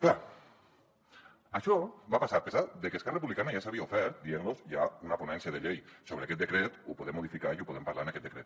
clar això va passar a pesar de que esquerra republicana ja s’havia ofert dient los hi ha una ponència de llei sobre aquest decret ho podem modificar i ho podem parlar en aquest decret